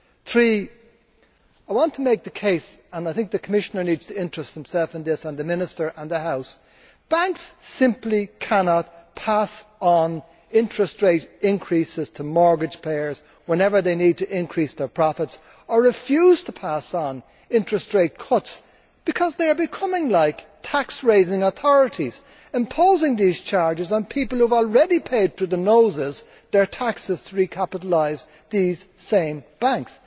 Three I want to make the case and I think the Commissioner needs to take an interest in this, and the minister, and the House that banks simply cannot pass on interest rate increases to mortgage payers whenever they need to increase their profits, or refuse to pass on interest rate cuts, because they are becoming like tax raising authorities, imposing these charges on people who have already paid their taxes through the nose to recapitalise these same banks.